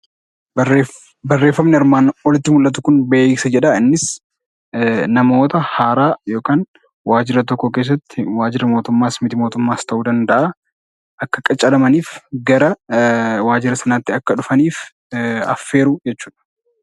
Beeksisi namoota haaraa yookiis waajjira tokko keessatti waajjira mootummaas mit-mootummaas ta'uu danda'a Akka qacaramaniif gara sanaatti Akka dhufaniif affeeruu jechuudha.